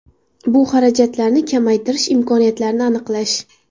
Bu xarajatlarni kamaytirish imkoniyatlarini aniqlash.